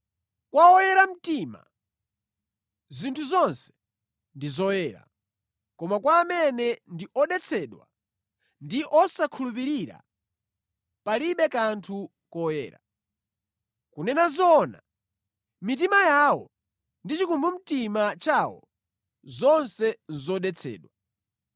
Kwa oyera mtima, zinthu zonse ndi zoyera, koma kwa amene ndi odetsedwa ndi osakhulupirira, palibe kanthu koyera. Kunena zoona, mitima yawo ndi chikumbumtima chawo, zonse nʼzodetsedwa.